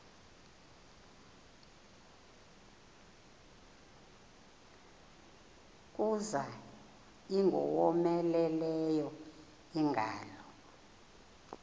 kuza ingowomeleleyo ingalo